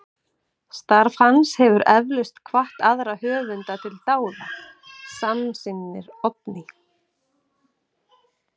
Starf hans hefur eflaust hvatt aðra höfunda til dáða, samsinnir Oddný.